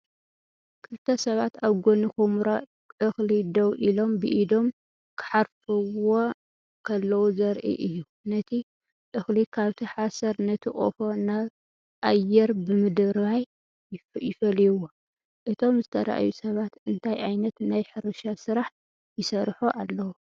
ክልተ ሰባት ኣብ ጎኒ ኵምራ እኽሊ ደው ኢሎም ብኢዶም ክሓርፍዎ ከለዉ ዘርኢ እዩ። ነቲ እኽሊ ካብቲ ሓሰር ነቲ ቆፎ ናብ ኣየር ብምድርባይ ይፈልይዎ። እቶም ዝተርኣዩ ሰባት እንታይ ዓይነት ናይ ሕርሻ ስራሕ ይሰርሑ ኣለዉ?